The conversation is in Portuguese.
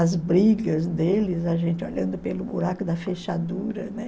As brigas deles, a gente olhando pelo buraco da fechadura, né?